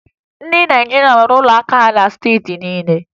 Ndị Naịjirịa nwere ụlọ akụ na steeti niile